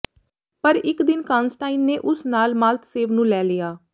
ਪਰ ਇੱਕ ਦਿਨ ਕਾਂਨਸਟਾਈਨ ਨੇ ਉਸ ਨਾਲ ਮਾਲਤਸੇਵ ਨੂੰ ਲੈ ਲਿਆ